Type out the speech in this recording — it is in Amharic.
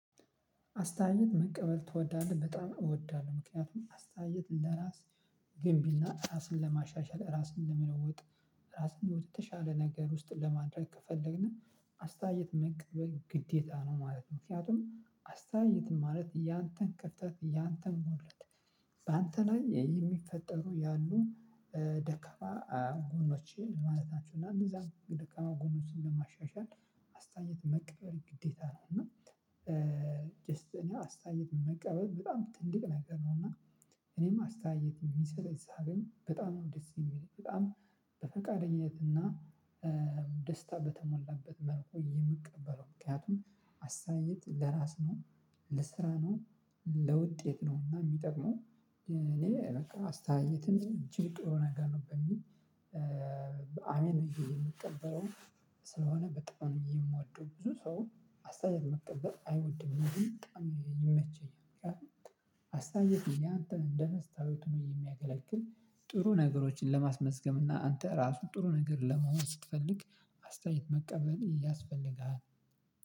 አስተያየት መቀበል ትወዳለህ በጣም እወዳለሁ ምክንያቱም አስተያየት ለራስ ግንቢና ራስን ለማሻሻል ራስን ለመለወጥ ራስን ወደተሻለ ነገር ውስጥ ለማድረግ ከፈለግን አስታየት መቀበል ግዴታ ነው ማለት ነው። ምክንያቱም አስታየት ማለት ያንተን ክፍተት ያንተን ጉድለት በአንተ ላይ የሚፈጠሩ ያሉ ደካማ ጎኖቼን ማለት ናቸው። እና እነዛን ደካማ ጎኖችን ለማሻሻል አስተያየት መቀበል ግዴታ ነው። እና ጀስት እኔ አስተያየት መቀበል በጣም ትንቅ ነገር ነው። እና እኔም አስተያየት እሚሰጠኝ ሳገኝ በጣም ነው ደስ የሚለው በጣም በፈቃደኝነትና ደስታ በተሞላበት መልኩ የምቀበለው። ምክንያቱም አስተያየት ለራስ ነው ለስራ ነው ለውጤት ነው። እና የሚጠቅመው እኔ በቃ አስተያየትን እጅግ ጥሩ ነገር ነው በሚል አሜን ብየ እምቀበለው። ስለሆነ በጣም የምወደው ብዙ ሰው አስተያየት መቀበል አይወድም እኔ ግን በጣም ይመቸኛል። ምክንያቱም አስተያየት ያንተን እንደመስታወት ሆኖ እሚያገለግል ጥሩ ነገሮችን ለማስመዝገብ እና አንተ ራሱ ጥሩ ነገር ለመሆን ስትፈልግ አስተያየት መቀበል ያስፈልግሃል።